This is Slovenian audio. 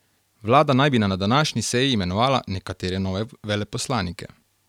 Vlada naj bi na današnji seji imenovala nekatere nove veleposlanike.